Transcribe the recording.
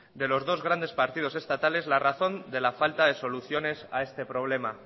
de los dos grandes partidos estatales la razón de la falta de soluciones a este problema